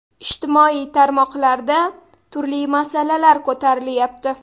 Ijtimoiy tarmoqlarda turli masalalar ko‘tarilyapti.